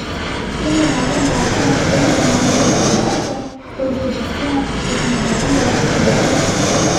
S tem denarjem plačamo štiri zunanje profesionalce, stroške za sceno, kostumografijo, prevoze...